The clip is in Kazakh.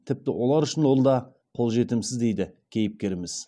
тіпті олар үшін ол да қолжетімсіз дейді кейіпкеріміз